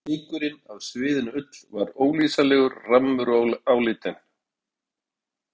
Fnykurinn af sviðinni ull var ólýsanlegur, rammur og áleitinn.